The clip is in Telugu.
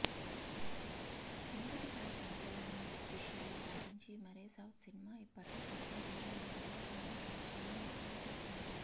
మొదటి పార్ట్ సంచలన విజయాన్ని సాధించి మరే సౌత్ సినిమా ఇప్పట్లో సాధించలేనంతగా భారీ కలెక్షన్స్ను వసూళ్లు చేసింది